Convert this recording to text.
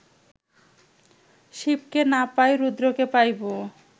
শিবকে না পাই, রুদ্রকে পাইব